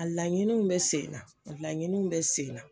A laɲiniw bɛ sen na, a laɲiniw bɛ sen na.